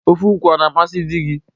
Ofe okwu ọ na-amasị di gị?